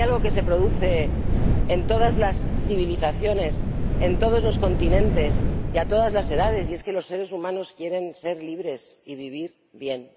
Porque hay algo que se produce en todas las civilizaciones, en todos los continentes y a todas las edades, y es que los seres humanos quieren ser libres y vivir bien.